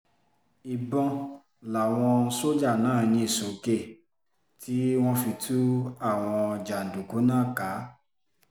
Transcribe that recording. ìbọn làwọn sójà náà yín sókè tí wọ́n fi tú àwọn jàǹdùkú náà ká